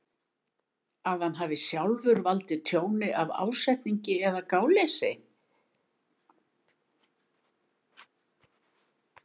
að hann hafi sjálfur valdið tjóni af ásetningi eða gáleysi.